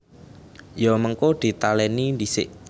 Ya mengko ditalèni dhisik